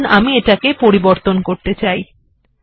মনে করুনআমি এটিকে পরিবর্তন করতে চাই